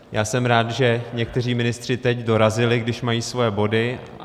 Já jsem rád, že někteří ministři teď dorazili, když mají svoje body.